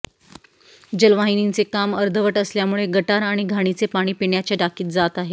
जलवाहिनीचे काम अर्धवट असल्यामुळे गटार आणि घाणीचे पाणी पिण्याच्या टाकीत जात आहे